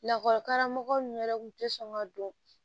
Lakɔlikaramɔgɔ ninnu yɛrɛ kun tɛ sɔn ka don